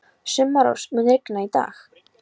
Sumarrós, mun rigna í dag?